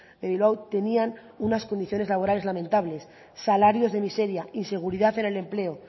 de bilbao tenían unas condiciones laborales lamentables salarios de miseria inseguridad en el empleo